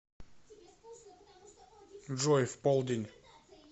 джой в полдень